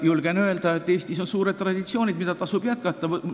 Julgen öelda, et Eestis on pikad traditsioonid, mida tasub jätkata.